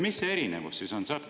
Mis see erinevus siis on?